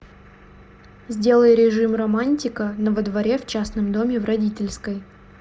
сделай режим романтика на во дворе в частном доме в родительской